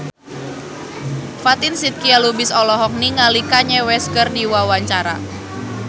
Fatin Shidqia Lubis olohok ningali Kanye West keur diwawancara